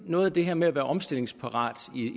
noget af det her med at være omstillingsparat